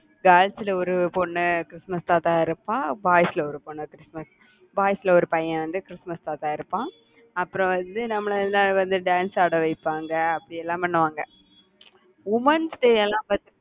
girls ல ஒரு பொண்ணு கிறிஸ்துமஸ் தாத்தாவா இருப்பா boys ல ஒரு பொண்ணு கிறிஸ்துமஸ் boys ல ஒரு பையன் வந்து கிறிஸ்துமஸ் தாத்தாவா இருப்பான் அப்புறம் வந்து, நம்மளை எல்லாம் வந்து dance ஆட வைப்பாங்க, அப்படி எல்லாம் பண்ணுவாங்க womens எல்லாம்